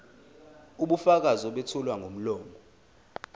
ubufakazi obethulwa ngomlomo